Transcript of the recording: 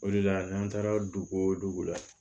O de la n'an taara dugu la